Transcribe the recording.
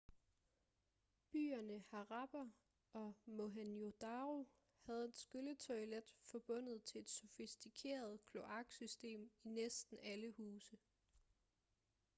byerne harappa og mohenjo-daro havde et skylletoilet forbundet til et sofistikeret kloaksystem i næsten alle huse